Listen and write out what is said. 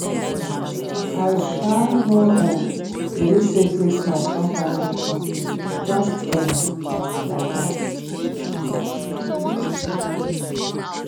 i um no um believe say christmas don finally come just um like dat